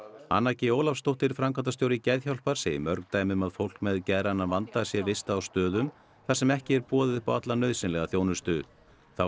anna g Ólafsdóttir framkvæmdastjóri Geðhjálpar segir mörg dæmi um að fólk með geðrænan vanda sé vistað á stöðum þar sem ekki boðið upp á alla nauðsynlega þjónustu þá